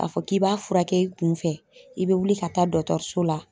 K'a fɔ k'i b'a furakɛ i kunfɛ i be wuli ka taa so la